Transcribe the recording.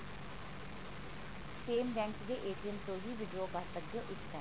same bank ਦੇ ਤੋਂ ਹੀ withdraw ਕਰ ਸਕਦੇ ਹੋ ਇੱਕ time